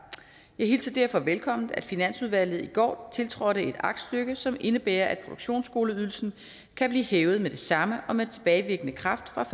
jeg hilser derfor velkommen at finansudvalget i går tiltrådte et aktstykke som indebærer at produktionsskoleydelsen kan blive hævet med det samme og med tilbagevirkende kraft fra